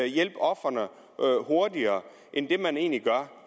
hjælpe ofrene hurtigere end det man egentlig gør